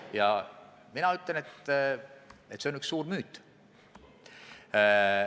Ja mina ütlen, et see on üks suur müüt.